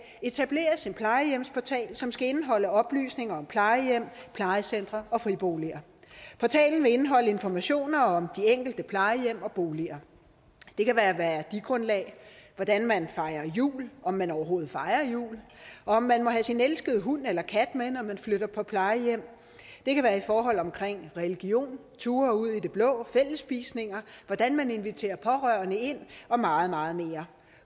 etableres en plejehjemsportal som skal indeholde oplysninger om plejehjem plejecentre og friboliger portalen vil indeholde informationer om de enkelte plejehjem og boliger det kan være værdigrundlag hvordan man fejrer jul om man overhovedet fejrer jul og om man må have sin elskede hund eller kat med når man flytter på plejehjem det kan være forhold omkring religion ture ud i det blå og fællesspisninger hvordan man inviterer pårørende ind og meget meget mere